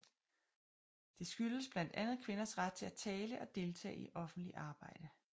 Det skyldtes blandt andet kvinders ret til at tale og deltage i offentligt arbejde